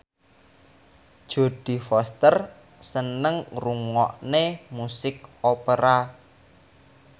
Jodie Foster seneng ngrungokne musik opera